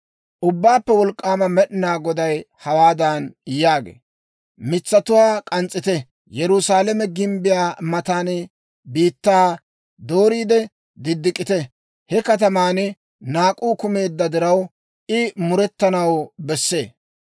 Ubbaappe Wolk'k'aama Med'inaa Goday hawaadan yaagee; «Mitsatuwaa k'ans's'ite. Yerusaalame gimbbiyaa matan biittaa dooriide diddik'ite. He kataman naak'uu kumeedda diraw, I murettanaw bessee.